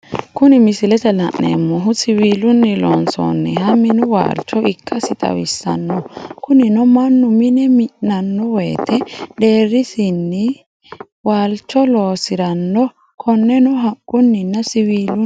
Kuni misilete la'neemohu, siwilunni loonsanniha minu waalicho ikkasi xawisano kunino manu mine mi'nano woyite deerisinni waalicho loosisiranno koneno haquninna siwilunn